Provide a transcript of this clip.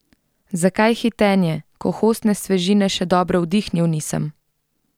Zakaj hitenje, ko hostne svežine še dobro vdihnil nisem?